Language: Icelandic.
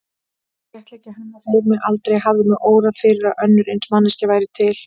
Léttleiki hennar hreif mig, aldrei hafði mig órað fyrir að önnur eins manneskja væri til.